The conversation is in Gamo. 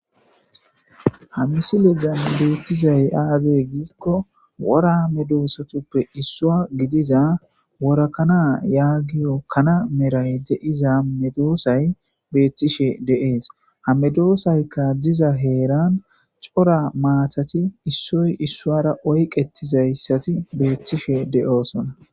hamisilezan beettizay aazey giikko woramedoosatuppe issua gidiza worakana yaagiyo kana meray de7iza medoosay beettishe deees hamedoosaykka diza heeran cora maatati issoy issuara oyqetizayssati beettishe de7oosona